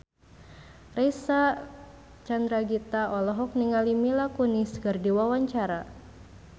Reysa Chandragitta olohok ningali Mila Kunis keur diwawancara